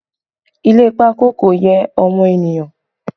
Ile pákó kò yẹ ọmọ ènìyàn